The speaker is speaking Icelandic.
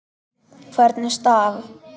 Hvernig staf